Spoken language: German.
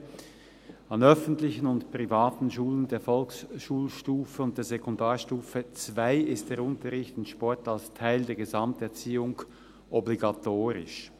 «An den öffentlichen und privaten Schulen der Volksschulstufe und der Sekundarstufe II ist der Unterricht in Sport als Teil der Gesamterziehung obligatorisch.